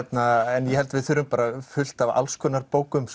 en ég held að við þurfum fullt af alls konar bókum